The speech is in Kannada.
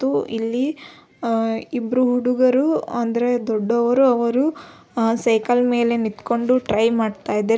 ತು ಇಲ್ಲಿ ಇಬ್ಬರು ಹುಡುಗರು ಅಂದರೆ ದೊಡ್ಡವರು ಅವರು ಸೈಕಲ್ ಮೇಲೆ ನಿತ್ಕೊಂಡು ಟ್ರೈ ಮಾಡ್ತಾ ಇದ್ದಾರೆ.